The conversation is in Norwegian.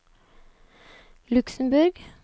Luxemborg